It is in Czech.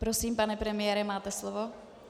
Prosím, pane premiére, máte slovo.